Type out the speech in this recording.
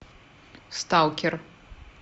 сталкер